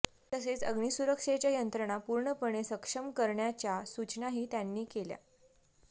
तसेच अग्निसुरक्षेच्या यंत्रणा पूर्णपणो सक्षम करण्याच्या सुचनाही त्यांनी केल्या